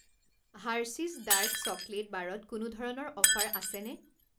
Hershey's dark chocolate বাৰত কোনো ধৰণৰ অফাৰ আছেনে?